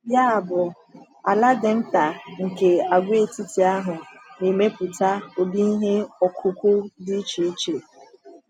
Yabụ, ala dị nta nke àgwàetiti ahụ na-emepụta ụdị ihe ọkụkụ dị iche iche.